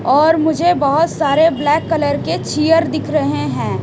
और मुझे बहोत सारे ब्लैक कलर के चिअर दिख रहे है।